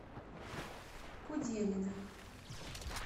куделина